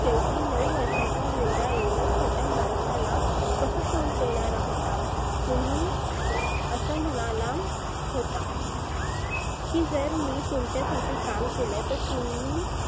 शेवटी नऊ वर्षाचा मुलगा एवढ्या छोट्या माणसाला कसं तोड देणारा होता. तुम्ही असं म्हणाला होता. की जर मी तुमच्या साठी काम केलं तर तुम्ही